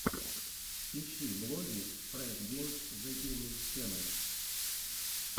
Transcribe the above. ищи влоги фреш геймс зэ гейминг ченел